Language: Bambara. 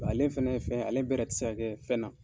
ale fɛnɛ ye fɛn ye ale bɛrɛ tɛ se ka kɛ fɛn na.